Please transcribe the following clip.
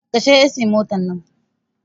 Kashe ehsin motar nan!